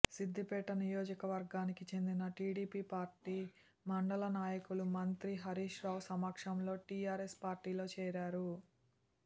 సిద్దిపేట నియోజకవర్గానికి చెందిన TDP party మండల నాయకులు మంత్రి హరీష్ రావు సమక్షంలో టీఆర్ఎస్ పార్టీలో చేరారు